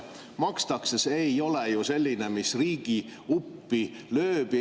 – tasu makstakse, ei ole selline, mis riigi uppi lööks.